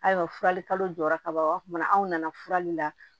Ayiwa furali kalo jɔra ka ban o b'a tuma anw nana furali la